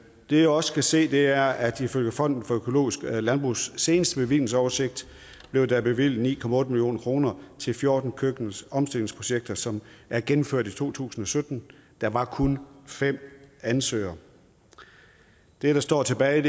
vi også kan se er at ifølge fonden for økologisk landbrugs seneste bevillingsoversigt blev der bevilget ni million kroner til fjorten køkkenomstillingsprojekter som er gennemført i to tusind og sytten der var kun fem ansøgere det der står tilbage